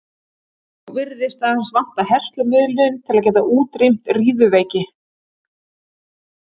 nú virðist aðeins vanta herslumuninn til að geta útrýmt riðuveiki